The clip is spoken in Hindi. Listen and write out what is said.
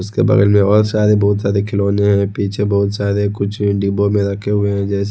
उसके बगल में और सारे बहुत सारे खिलौने हैं पीछे बहुत सारे कुछ डिब्बों में रखे हुए हैं जैसे--